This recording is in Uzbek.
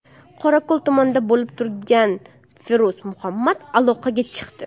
Qorako‘l tumanida bo‘lib turgan Feruz Muhammad aloqaga chiqdi.